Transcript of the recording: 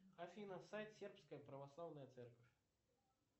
афина сайт сербская православная церковь